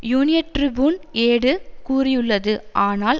Union Tribune ஏடு கூறியுள்ளது ஆனால்